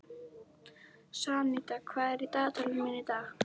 Santía, hvað er í dagatalinu mínu í dag?